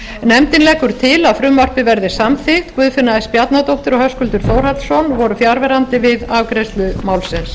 nefndin leggur til að frumvarpið verði samþykkt guðfinna s bjarnadóttir og höskuldur þórhallsson voru fjarverandi við afgreiðslu málsins